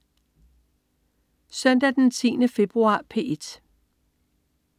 Søndag den 10. februar - P1: